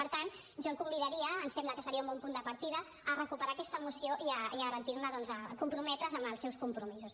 per tant jo el convidaria em sembla que seria un bon punt de partida a recuperar aquesta moció i a garantir ne doncs a comprometre’s amb els seus compromisos